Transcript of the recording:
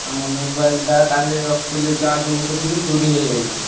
ଆ ମୋ mobile ଟା କାଲି ରଖିଥିଲି charge ବସେଇଥିଲି ଚୋରୀ ହେଇଯାଇଛି।